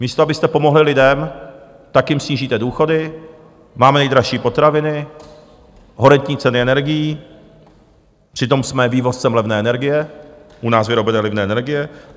Místo abyste pomohli lidem, tak jim snížíte důchody, máme nejdražší potraviny, horentní ceny energií, přitom jsme vývozcem levné energie, u nás vyrobené levné energie.